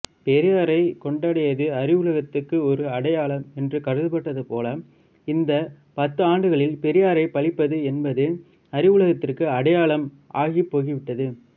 பெரியாரைக் கொண்டாடியது அறிவுலகத்துக்கு ஒரு அடையாளம் என்று கருதப்பட்டதுபோல இந்த பத்தாண்டுகளில் பெரியாரை பழிப்பது என்பது அறிவுலகத்துக்கு அடையாளம் ஆகிப்போய்விட்டது